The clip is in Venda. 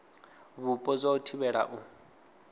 vhupo zwa u thivhela u